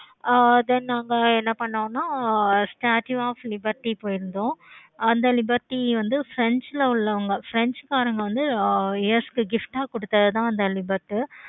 ஆஹ் then அங்க என்ன பண்ணோம்னா ஆஹ் statue of liberty போயி இருந்தோம். அந்த liberty வந்து french ல உள்ளவங்க french காரங்க வந்து gift ஆஹ் கொடுத்தது தான் அந்த liberty